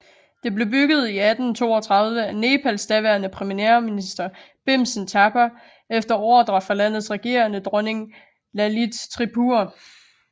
Det blev bygget i 1832 af Nepals daværende premierminister Bhimsen Thapa efter ordre fra landets regerende dronning Lalit Tripura